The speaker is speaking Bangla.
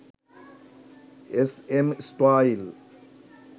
SM style